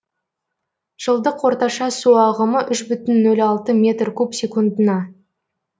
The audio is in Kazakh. жылдық орташа су ағымы үш бүтін нөл алты метр куб секундына